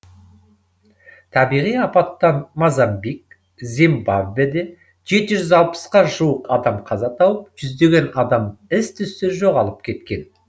табиғи апаттан мозамбик зимбабведе жеті жүз алпысқа жуық адам қаза тауып жүздеген адам із түзсіз жоғалып кеткен